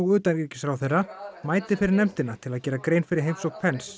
utanríkisráðherra mæti fyrir nefndina til að gera grein fyrir heimsókn